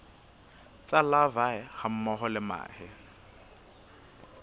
tsa larvae hammoho le mahe